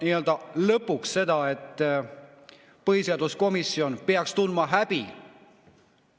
Lõpuks ma tahaksin öelda seda, et põhiseaduskomisjon peaks häbi tundma.